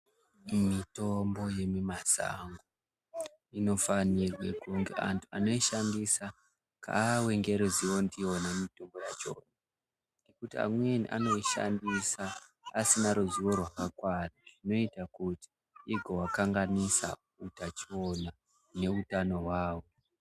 Mitombo yekumasango inofanirwa kuti antu anoishandisa ave neruzivo ndiyona mitombo yacho ngekuti amweni anoishandisa asina ruzivo rwakakwana Zvinoita kuti igovakanganisa hutachiona nehutano hwavo.